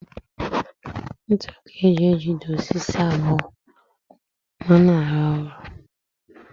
Ntu ka e ji ejide osisi abụọ ma a na-arụ ụlọ